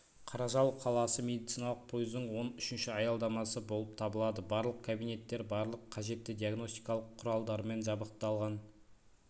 қаражал қаласы медициналық пойыздың он үшінші аялдамасы болып табылады барлық кабинеттер барлық қажетті диагностикалық құралдармен жабдықталған